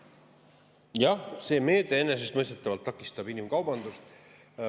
Jah, see meede enesestmõistetavalt takistab inimkaubandust.